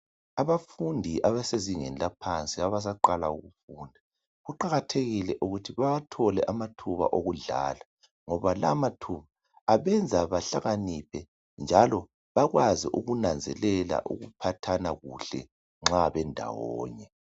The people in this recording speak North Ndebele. Abafundi abasezingeni laphansi abasaqala ngokufunda. Kuqakathelile ukuthi bawathole amathuba okudlala, ngoba la mathuba abenza bahlakaniphe njalo bakwazi ukunanzelela ukuphathana kuhle nxa bendawonye.